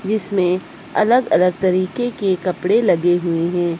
जिसमे अलग अलग तरीके के कपड़े लगे हुए हैं।